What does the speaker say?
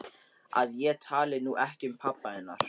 Að ég tali nú ekki um pabba hennar.